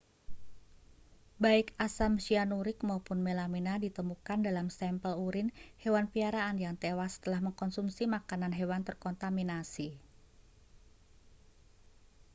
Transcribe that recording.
baik asam cyanuric maupun melamina ditemukan dalam sampel urine hewan piaraan yang tewas setelah mengonsumsi makanan hewan terkontaminasi